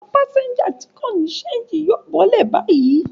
Àwọn pásẹ́ńjà tí kò ní ṣéńjì yóò bọ́lẹ̀ báyìí.